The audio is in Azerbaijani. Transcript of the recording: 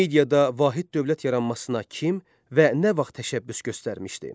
Mediada vahid dövlət yaranmasına kim və nə vaxt təşəbbüs göstərmişdi?